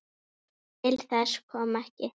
Til þess kom ekki.